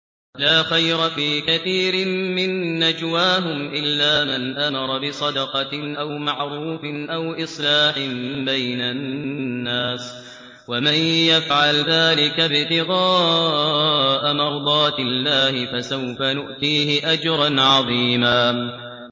۞ لَّا خَيْرَ فِي كَثِيرٍ مِّن نَّجْوَاهُمْ إِلَّا مَنْ أَمَرَ بِصَدَقَةٍ أَوْ مَعْرُوفٍ أَوْ إِصْلَاحٍ بَيْنَ النَّاسِ ۚ وَمَن يَفْعَلْ ذَٰلِكَ ابْتِغَاءَ مَرْضَاتِ اللَّهِ فَسَوْفَ نُؤْتِيهِ أَجْرًا عَظِيمًا